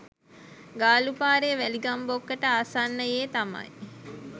ගාලු පාරේ වැලිගම් බොක්කට ආසන්නයේ තමයි